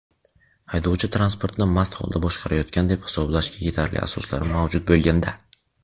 haydovchi transportni mast holda boshqarayotgan deb hisoblashga yetarli asoslar mavjud bo‘lganda;.